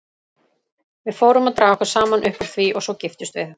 Við fórum að draga okkur saman upp úr því og svo giftumst við.